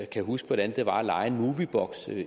kan huske hvordan det var at leje en movieboks